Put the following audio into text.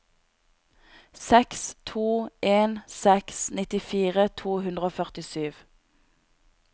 seks to en seks nittifire to hundre og førtisju